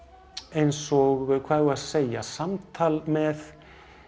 eins og hvað eigum við að segja samtal með